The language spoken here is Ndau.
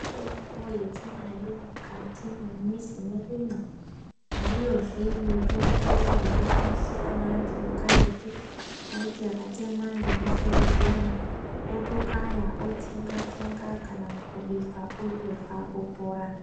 Mitombo yetinayo mukati mwemizi mwedumwo, ndiyozve yaishandiswa neantu ekaretu aiti akatemwa ngemusoro otokaya otsenga tsenga kana kubika otorya opora.